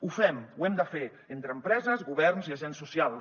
ho fem ho hem de fer entre empreses governs i agents socials